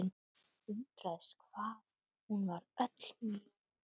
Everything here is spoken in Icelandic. Undraðist hvað hún var öll mjúk.